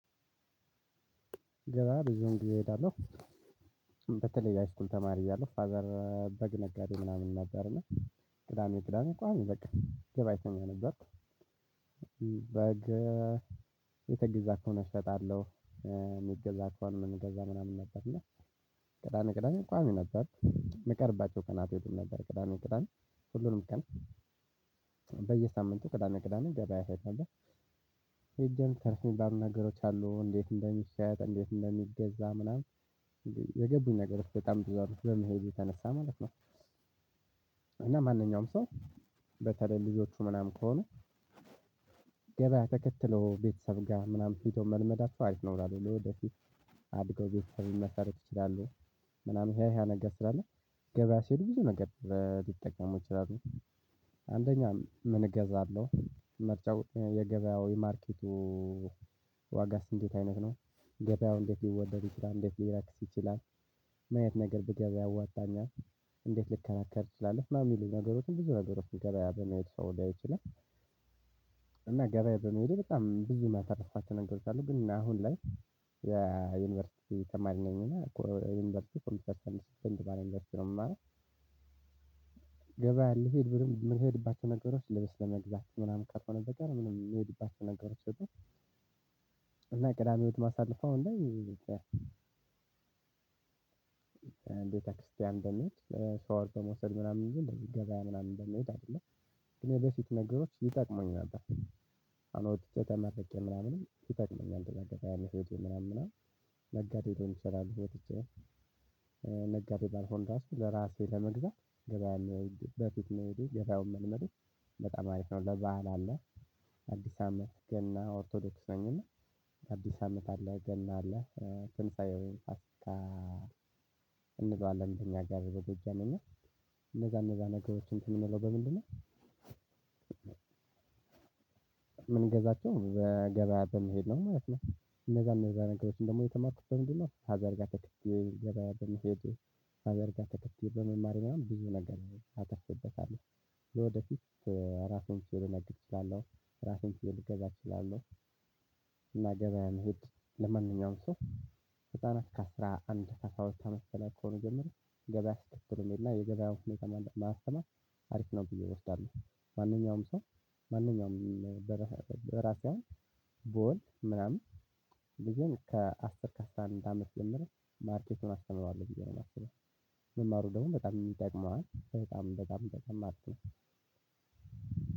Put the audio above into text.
ገበያ ብዙም ጊዜ እሄዳለሁ። በተለይ የሃይስኩል ተማሪ እያለሁ ፋዘር በግ ነጋዴ ምናምን ነበር እና ቅዳሜ ቅዳሜ እንኳን በቃ ገበያተኛ ነበርኩ። በግ እየተገዛ ከሆነ ነው እሸጣለሁ። የሚገዛ ከሆነ የምንገዛ ምናምን ነበር እና ቅዳሜ ቅዳሜ ቋሚ ነበርኩ የምቀርባቸው ቀናት ይሉም ነበር ቅዳሜ ቅዳሜ ሁሉንም ቀን ቅዳሜ ቅዳሜ ገበያ እሄድ ነበር ሄጀም ትርፍ የሚባሉ ነገሮች አሉ እንዴት እንደሚሸጥ እንዴት እንደሚገዛ ምናምን የገቡኝ ነገር በጣም ብዙ አሉ በመሄዴ የተነሳ ማለት ነው። እና ማንኛውም ሰው በተለይ ልጆቹ ምናምን ከሆነ ገበያ ተከትሎ ቤተሰብ ጋር ምናምን ሄዶ መልመዳቸው አሪፍ ነው አላለሁ። ለወደፊት አድገው ቤተሰብ ሊመሰርቱ ይችላሉ ምናምን ይሄ ይሄ ነገር ስላለ ገበያ ሲሄዱ ብዙ ነገር ሊጠቀሙ ይችላሉ። አንደኛ ምን እገዛለሁ ምርጫው የገበያው የማርኬቱ ዋጋ እንዴት አይነት ነው? ገበያው እንዴት ሊወደድ ይችላል? እንዴት ሊረክስ ይችላል? ምን አይነት ነገር ብገዛ ያወጣኛል? እንዴት ልከራከር እችላለሁ? ምናምን የሚሉ ነገሮችን ብዙ ነገሮችን ገበያ በመሄድ ሰው ልያየው ይችላል። እና ገበያ በመሄደ በቃ በጣም ብዙ ያተርፍኳቸው ነገሮች አሉ። ግን አሁን ላይ የዩኒቨርሲቲ ተማሪ ነኝ እና ዩኒቨርሲቲ ኮምፒዩተር ሳይንስ ፊልድ ውስጥ ነው የምማረው ገበያ ልሂድ ብልም የምንሄድባቸው ነገሮች ልበስ ለመግዛት ምናምን ካልሆነ በቀር ምንም የምሄድባቸው ነገሮች የሉም እና ቅዳሜ ህይወት ማሳልፈው አሁን ላይ ቤተክርስቲያን በመሄድ ሻወር በመውሰድ ምናምን እንጂ እንደዚ ገበያ ምናምን በመሄድ አይደለም። ግን የበፊት ነገሮች ይጠቅሙኝ ነበር። አሁን ወጥቼ ተመርቄ ምናምን ይጠቅመኛል። እንደዛ ያለ ህይወት ምናምን ነጋዴውን በሚሰራበት ነጋዴውን ባልኩኝ ራሱ ለራሴ ለመግዛት ገበያ ነው በፊት መሄዱ ገበያውን መልመዱ በጣም አሪፍ ነው ለባህል አለ አዲስ አመት ገና ኦርቶዶክስ ነኝ እና አዲስ አመት አለ ገና አለ ትንሳኤውን ፋሲካ እንለዋለን እኛ አገር በጎጃመኛ እነዛ እነዛ ነገሮች እንትን የሚለው በምንድነው የምንገዛቸው በገበያ በመሄድ ነው ማለት ነው እነዛ እነዛ ነገሮችን ደግሞ የተማርኩት በምንድነው ፋዘር ጋር ተከትየ ገበያ ብንሄድ ፋዘር ጋር ተከትይ በመማር ምናምን ብዙ ነገር አተርፍቤታለሁ። ወደፊት ራሱን ሲያደርግ እችላለሁ ራሱን ሲያደርግ እገዛ እችላለሁእና ገበያ መሄድ ለማንኛውም ሰው በጣም እስከ አስራ አንድ ከ አስራ ሁለት አመት በላይ ከሆነ ጀምሮ ገበያ ስትክትሉን የለም የገበያው ሁኔታ ማስተማር አሪፍ ነው ብዬ እወስዳለሁ ማንኛውም ሰው ማንኛውም በራሴ ቦል ምናምን ልጅም ከአስር ከአስራ አንድ አመት ጀምሮ ማርኬቱን አስተምረዋለሁ ብየ ነው የማስበው መማሩ ደግሞ በጣም ይጠቅመዋል በጣም በጣም በጣም ማለት ነው።